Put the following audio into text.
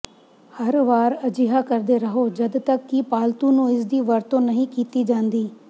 ਹਰ ਵਾਰ ਅਜਿਹਾ ਕਰਦੇ ਰਹੋ ਜਦ ਤੱਕ ਕਿ ਪਾਲਤੂ ਨੂੰ ਇਸਦੀ ਵਰਤੋਂ ਨਹੀਂ ਕੀਤੀ ਜਾਂਦੀ